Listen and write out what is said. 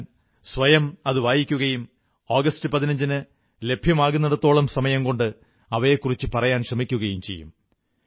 ഞാൻ സ്വയം അതു വായിക്കുകയും ആഗസ്റ്റ് 15 ന് ലഭ്യമാകുന്നിടത്തോളം സമയംകൊണ്ട് അവയെക്കുറിച്ചു പറയാൻ ശ്രമിക്കുകയും ചെയ്യും